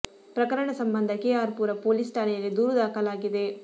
ಪ್ರಕರಣ ಸಂಬಂಧ K R Pura police ಠಾಣೆಯಲ್ಲಿ ದೂರು ದಾಖಲಾಗಿದೆ